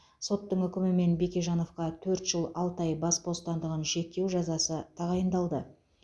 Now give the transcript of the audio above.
соттың үкімімен бекежановқа төрт жыл алты ай бас бостандығын шектеу жазасы тағайындалды